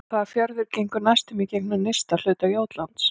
Hvaða fjörður gengur næstum í gegnum nyrsta hluta Jótlands?